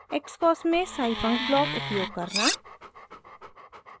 * xcos में scifunc block उपयोग करना